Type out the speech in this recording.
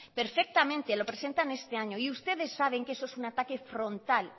perfectamente lo presentan este año y ustedes saben que eso es un ataque frontal